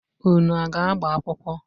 Unu aga agbamakwụkwọ!